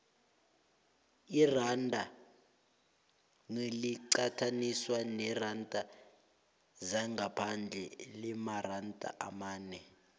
iranda naliqathaniswa neenarha zangaphandle limaranda amane